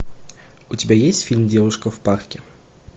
у тебя есть фильм девушка в парке